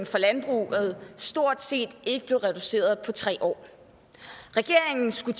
fra landbruget stort set ikke blev reduceret på tre år regeringen skulle